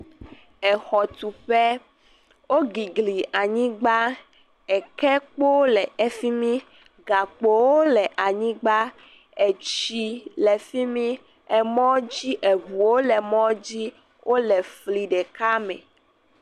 Exɔtuƒe. Wogigli anyigba. Ekekpowo le efi mi. Gakpowo le anyigba, etsi le fi mi, emɔ dzi eŋuwo le emɔ dzi wo le fli ɖeka me.